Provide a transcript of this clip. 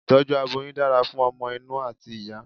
itọju aboyún dára fún ọmọ inú ati ìyá